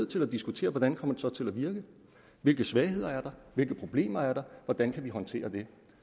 til at diskutere hvordan kommer det så til at virke hvilke svagheder er der hvilke problemer er der hvordan kan vi håndtere dem